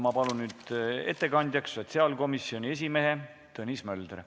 Ma palun nüüd ettekandjaks sotsiaalkomisjoni esimehe Tõnis Möldri.